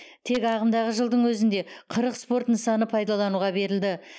тек ағымдағы жылдың өзінде қырық спорт нысаны пайдалануға берілді